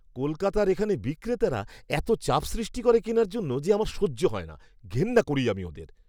কলকাতার এখানে বিক্রেতারা এত চাপ সৃষ্টি করে কেনার জন্য যে আমার সহ্য হয় না। ঘেন্না করি আমি ওদের।